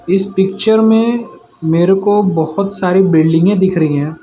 इस पिक्चर में मेरे को बहोत सारी बिल्डिंगे दिख रही है।